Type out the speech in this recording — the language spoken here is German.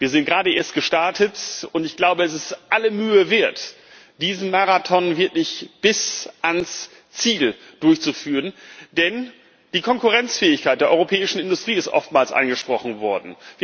Wir sind gerade erst gestartet, und es ist aller Mühe wert, diesen Marathon wirklich bis ans Ziel durchzuführen, denn die Konkurrenzfähigkeit der europäischen Industrie ist oftmals angesprochen worden.